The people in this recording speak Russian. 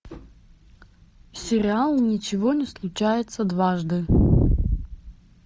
сериал ничего не случается дважды